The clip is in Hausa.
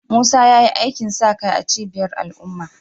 Musa ya yi aikin sa kai a cibiyar al’umma